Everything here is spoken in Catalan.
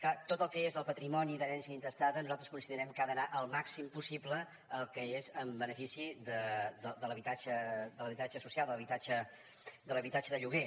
clar tot el que és el patrimoni d’herència intestada nosaltres considerem que ha d’anar al màxim possible el que és en benefici de l’habitatge social de l’habitatge de lloguer